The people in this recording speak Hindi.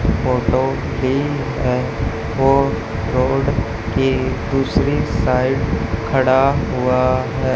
फोटो भी है वो रोड के दूसरी साइड खड़ा हुआ है।